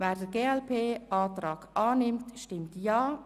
Wer den glp-Antrag annimmt, stimmt Ja.